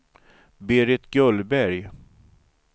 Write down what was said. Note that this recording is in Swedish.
Berit Gullberg